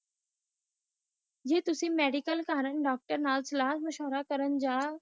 ਜੇ ਤੁਸੀ ਮੈਡੀਕਲ ਕਰਨ ਡਾਕਟਰ ਨਾਲ ਸਾਲ ਮਸ਼ਵਰਾ ਕਰਨ